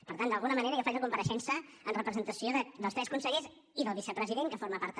per tant d’alguna manera jo faig la compareixença en representació dels tres consellers i del vicepresident que forma part també